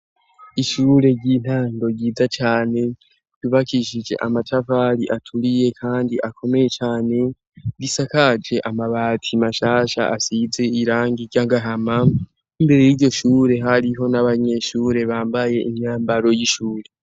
Ishure ry'intando ryiza cane , ryubakishije amatafari aturiye kandi akomeye cane, bisakaje amabati mashasha asize irangi ry'agahama, imbere y'iryo shure hariho n'abanyeshure bambaye imyambaro w'ishuri.